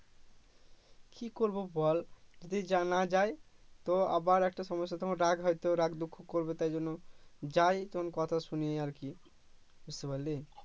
কি করবো বল যদি জানা যায় তো আবার একটা সমস্যা তোমায় হয়তো রাগ দুঃখ করবে তাইজন্যও যায় তখন কথা শুনি আরকি বুঝতে পারলি